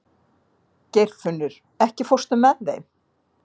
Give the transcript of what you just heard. Geirfinnur, ekki fórstu með þeim?